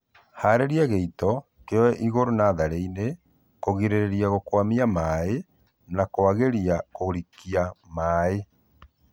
Harĩria gĩito kĩoe igũru natharĩinĩ kũgĩrĩrĩria gũkwamia maĩĩ na kwagĩria kũrikia maĩĩ